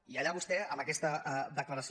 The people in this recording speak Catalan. i allà vostè amb aquesta declaració